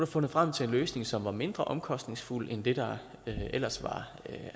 fundet frem til en løsning som var mindre omkostningsfuld end det der ellers var